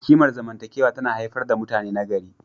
Kimar zamantakewa tana haifar da mutane nagari.